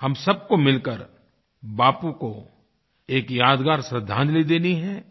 हम सबको मिलकर बापू को एक यादगार श्रद्धांजलि देनी है